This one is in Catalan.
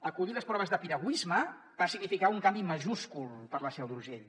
acollir les proves de piragüisme va significar un canvi majúscul per a la seu d’urgell